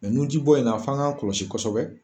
nunjibɔ in na fɔ an k'an kɔlɔsi kosɛbɛ.